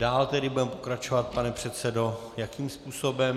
Dále tedy budeme pokračovat, pane předsedo, jakým způsobem?